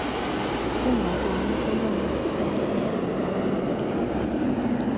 ungaboni ulungiseelelo lwamazwi